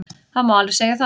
Það má alveg segja það.